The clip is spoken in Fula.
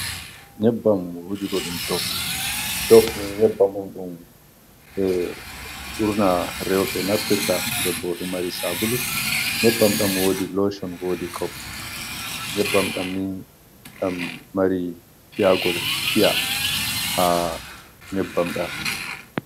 Nyebbam wujugo ɗum dof, dof ni nyebbam on ɗum ɓe ɓurna roɓɓe naftirta, den bo ɗo mari sabulu, nyebbam ɗam wodi lochon, wodi kau, nyebbam ɗam ni ɗam mari piyagol piya, ha nyebbam ɗam.